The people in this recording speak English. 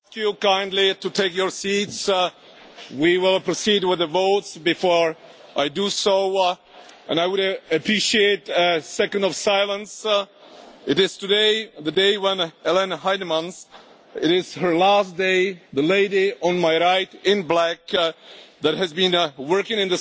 Ladies and gentlemen, if I may ask you kindly to take your seats, we will proceed with the votes. Before I do so and I would appreciate a second of silence today is Ellen Heinemann's last day. She has been working for